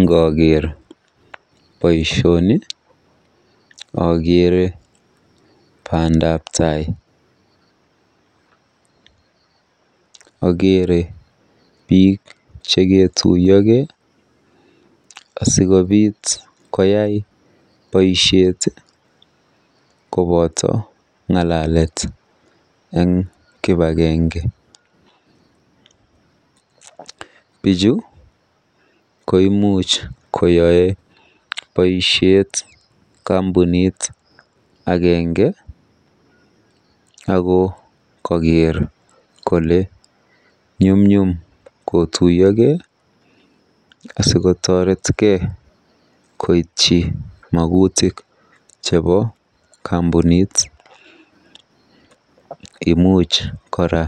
Ngookeer boisioni akeere bandabtai. Akeere biik cheketuiyokei asikobiit koyai boisiet koboto ng'alalet eng kibagenge. Bichu koimuch koyae boisiet kampunit agenge ako kakeer kole nyumnyum kotuiyokei asikotoretkei koityi magutik chebo kampunit. Imuch kora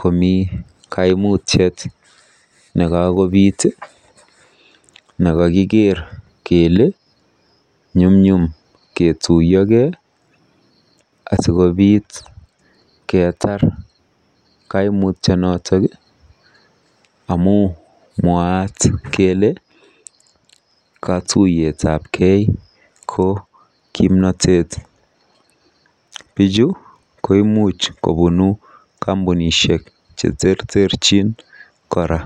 komi kaimutiet nekakobiit nekakikeer kele nyumnyum ketuiyokei asikobiit keetar kaimutyonoto amu mwaat kele katuiyetabkei ko kimnatet. Bichu koimuch kobunu kampunishek cheterterchin kora.